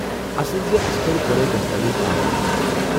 اصل زِ اسہِ کرِ گۄڈے دستاویز آن لاین جمع ۔